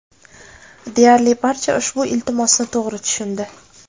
Deyarli barcha ushbu iltimosni to‘g‘ri tushundi.